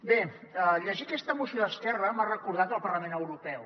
bé llegir aquesta moció d’esquerra m’ha recordat el parlament europeu